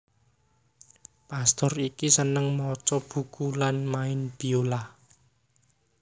Pastur iki seneng maca buku lan main biolah